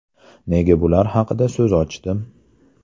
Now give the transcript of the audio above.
Nega bular haqida so‘z ochdim?